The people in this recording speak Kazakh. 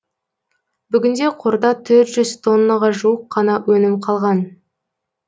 бүгінде қорда төрт жүз тоннаға жуық қана өнім қалған